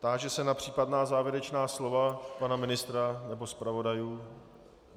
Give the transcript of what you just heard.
Táži se na případná závěrečná slova pana ministra nebo zpravodajů.